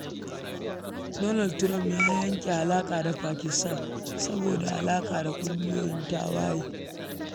Donald Trump ya yanke alaƙa da Pakistan saboda alaƙa da ƙungiyoyin tawaye.